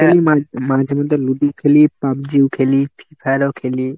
খেলি মা মাঝেমধ্যে লুডু খেলি, পাবজিও খেলি, free fire ও খেলি।